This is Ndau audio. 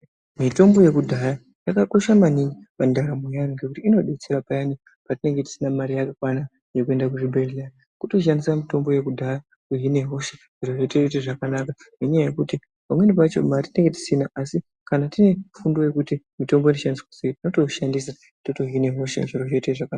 Mitombo yekudhaya yakakosha maningi muntaramo yaantu ngekuti inodetsera payani petinge tisina mare yakakwana yekuende kuzvibhedhlera. Kutoshandise mitombo yekudhaya kuhine hosha zviro zvotoite zvakanaka ngenyaya yekuti pamweni pacho mare tinenge tisina asi kana tine fundo yekuti mutombo unoshandiswa sei, tinotoushandisa totohine hosha zviro zvotoite zvakanaka.